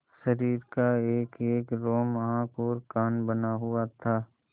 शरीर का एकएक रोम आँख और कान बना हुआ था